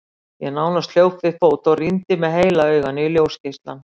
Ég nánast hljóp við fót og rýndi með heila auganu í ljósgeislann.